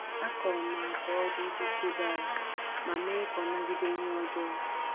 Akụrụ m agwa oji iji chebe ala ma mee ka ọ nagide ihe ọjọọ.